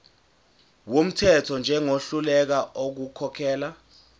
wumthetho njengohluleka ukukhokhela